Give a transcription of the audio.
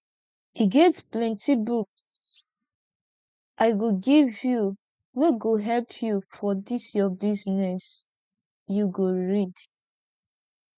e get plenty books i go give you wey go help you for dis your business you go read